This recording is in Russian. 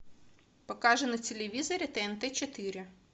покажи на телевизоре тнт четыре